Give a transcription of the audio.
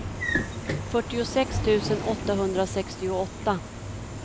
fyrtiosex tusen åttahundrasextioåtta